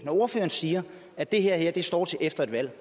ordføreren siger at det her her står til efter et valg